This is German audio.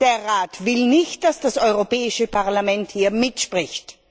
Der Rat will nicht, dass das Europäische Parlament hier mitspricht.